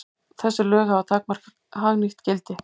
Þessi lög hafa takmarkað hagnýtt gildi.